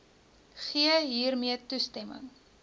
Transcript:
gee hiermee toestemming